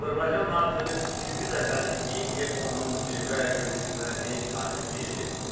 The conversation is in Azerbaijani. Azərbaycan artıq üçüncü dəfədir ki, EKO-nun zirvə görüşünə ev sahibliyi edir.